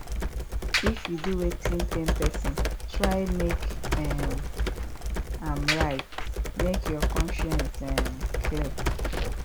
if yu do wetin pain pesin try mek um am right mek yur conscience um clear